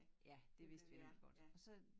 Ja det vidste vi nemlig godt og så